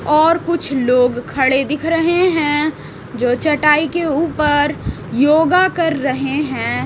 और कुछ लोग खड़े दिख रहे हैं जो चटाई के ऊपर योगा कर रहे हैं।